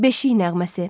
Beşik nəğməsi.